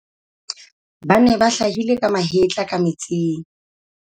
ba ne ba hlahile ka mahetla ka metsing